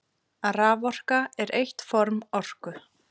Raforka er eitt form orku.